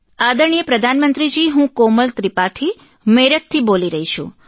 આદરણીય પ્રધાનમંત્રી જી હું કોમલ ત્રિપાઠી મેરઠથી બોલી રહી છું